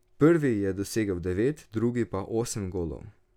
Prvi je dosegel devet, drugi pa osem golov.